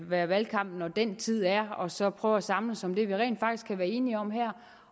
være valgkamp når den tid er og så prøve at samles om det vi rent faktisk kan være enige om her